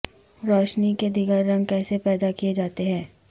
روشنی کے دیگر رنگ کیسے پیدا کیے جاتے ہیں